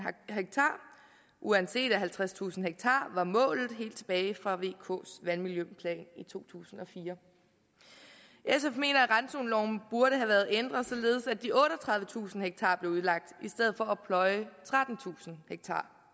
ha uanset at halvtredstusind ha var målet helt tilbage fra vks vandmiljøplan i to tusind og fire sf mener at randzoneloven burde have været ændret således at de otteogtredivetusind ha blev udlagt i stedet for at pløje trettentusind